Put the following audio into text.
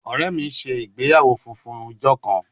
Ọrẹ mi ṣe igbeyawo funfun ijo kan